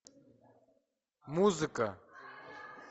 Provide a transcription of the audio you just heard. музыка